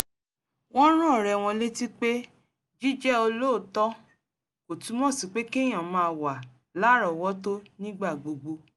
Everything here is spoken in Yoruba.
wọ́n rán ọ̀rẹ́ wọn létí pé jíjẹ́ olóòótọ́ kò túmọ̀ sí pé kéyàn máa wà lárọ̀ọ́wọ́tó nígbà gbogbo